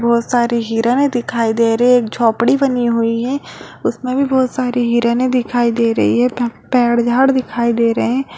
बहुत सारी हिरणें दिखाई दे रही है। एक झोपड़ी बानी हुई है उसमे भी बहुत सारी हिरणें दिखाई दे रही है | पेड़ झाड़ दिखाई दे रहे हैं |